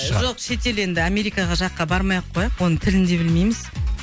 жоқ шет ел енді америкаға жаққа бармай ақ қояйық оның тілін де білмейміз